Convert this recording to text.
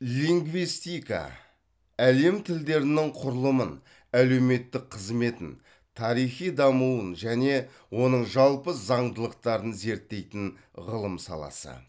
лингвистика әлем тілдерінің құрылымын әлеуметтік қызметін тарихи дамуын және оның жалпы заңдылықтарын зерттейтін ғылым саласы